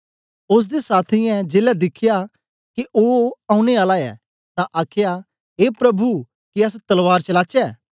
ओसदे साथियें जेलै दिखया के के ओनें आला ऐ तां आखया ए प्रभु के अस तलवार चलाचै